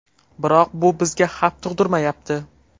Biroq bu bizga xavf tug‘dirmayapti.